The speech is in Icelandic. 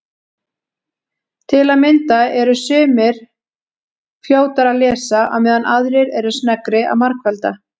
Til að mynda eru sumir fljótari að lesa á meðan aðrir eru sneggri að margfalda.